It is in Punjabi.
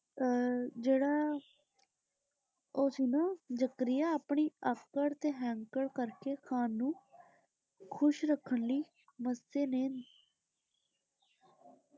ਅਹ ਜਿਹੜਾ ਉਹ ਸੀ ਨਾ ਜ਼ਕਰੀਆ ਆਪਣੀ ਆਕੜ ਤੇ ਹੈਂਕੜ ਕਰਕੇ ਖਾਨ ਨੂੰ ਖੁਸ਼ ਰੱਖਣ ਲਈ ਮੱਸੇ ਨੇ